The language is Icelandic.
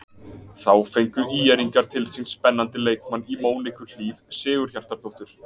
Þá fengu ÍR-ingar til sín spennandi leikmann í Móniku Hlíf Sigurhjartardóttur.